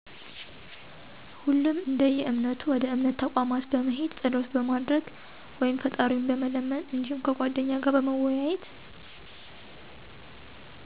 ሁሉም እደየእምነቱ ወደ እምነት ተቋማት በመሄድ ፀሎት በማድረግ ወይም ፍጣሪውን በመለመን እዲሁም ከጓደኛ ጋር በመወያየት።